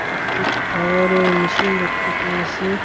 একটি টায়ার -এর মেশিন দেখতে পেয়েসি।